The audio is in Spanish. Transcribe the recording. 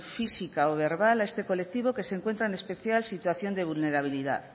física o verbal a este colectivo que se encuentra en especial situación de vulnerabilidad